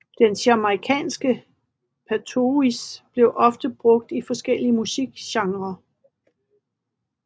Den jamaicanske patois bliver ofte brugt i forskellige musikgenrer